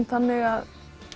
þannig að